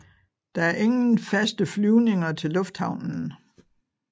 Der er ingen faste flyvninger til lufthavnen